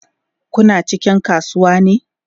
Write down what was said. Kuna cikin kasuwa ne?